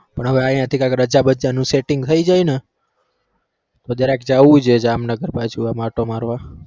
પણ હવે અઈયા થી રજા બજા નું setting થઇ જાય ને તો જરાક જાઉં છે જામનગર બાજુ આમ આંટો મારવા